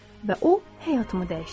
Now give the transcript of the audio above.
Və o həyatımı dəyişdirdi.